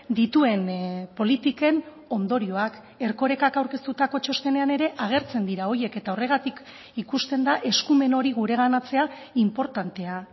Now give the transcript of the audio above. dituen politiken ondorioak erkorekak aurkeztutako txostenean ere agertzen dira horiek eta horregatik ikusten da eskumen hori gureganatzea inportantea